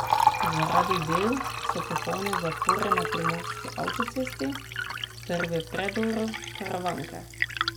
Zaradi del so popolne zapore na Primorski avtocesti ter v predoru Karavanke.